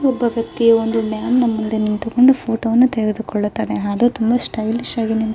ಒಬ್ಬ ವೆಕ್ತಿ ಒಂದು ಡ್ಯಾಂ ಮುಂದೆ ನ ಮುಂದೆ ಫೋಟೋ ತೆಗೆದುಕೊಳ್ಳುತ್ತಾನೆ ಅವನು ತುಂಬಾ ಸ್ಟೈಲಿಷ್ ಆಗಿ ನಿಂತು --